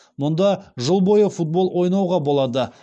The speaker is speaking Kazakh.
мұнда жыл бойы футбол ойнауға болады